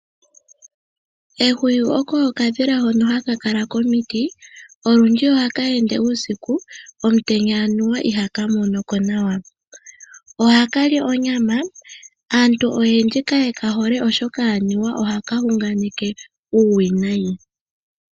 Ehwiyu oko okadhila hono komiti olundji. Ohaka ende uusiku omutenya anuwa ihaka monoko nawa. Oha kali onyama. Aantu oyendji kaye ka hole oshoka anuwa ohaka hunganeke uuwinayi